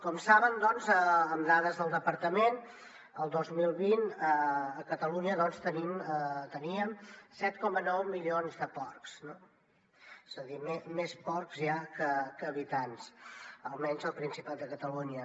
com saben amb dades del departament el dos mil vint a catalunya teníem set coma nou milions de porcs no és a dir més porcs ja que habitants almenys al principat de catalunya